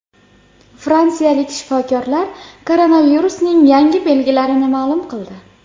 Fransiyalik shifokorlar koronavirusning yangi belgilarini ma’lum qildi.